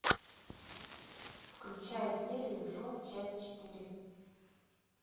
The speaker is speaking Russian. включай серию джо часть четыре